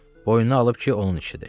Boynuna alıb ki, onun işidir.